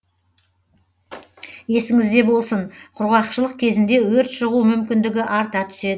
есіңізде болсын құрғақшылық кезінде өрт шығу мүмкіндігі арта түседі